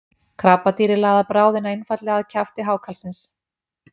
Krabbadýrið laðar bráðina einfaldlega að kjafti hákarlsins.